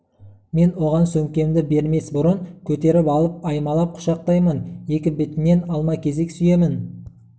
мен оған сөмкемді бермес бұрын көтеріп алып аймалап құшақтаймын екі бетінен алма-кезек сүйемін